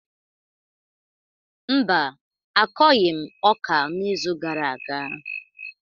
Mba, akọghị m ọka n’izu gara aga